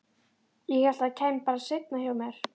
Ég hélt að það kæmi bara seinna hjá mér.